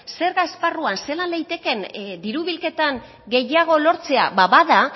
zerga esparruan zelan litekeen diru bilketan gehiago lortzea ba bada